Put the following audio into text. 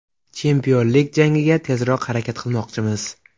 Chempionlik jangiga tezroq harakat qilmoqchimiz.